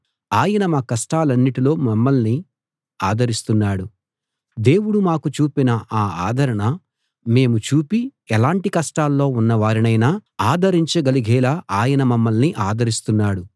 ఆయన మా కష్టాలన్నిటిలో మమ్మల్ని ఆదరిస్తున్నాడు దేవుడు మాకు చూపిన ఆ ఆదరణ మేమూ చూపి ఎలాంటి కష్టాల్లో ఉన్నవారినైనా ఆదరించగలిగేలా ఆయన మమ్మల్ని ఆదరిస్తున్నాడు